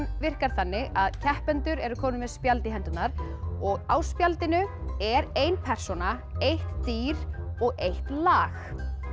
virkar þannig að keppendur eru komnir með spjald í hendurnar og á spjaldinu er ein persóna eitt dýr og eitt lag